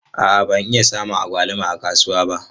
A'a ban iya samun agwaluma a kasuwa ba.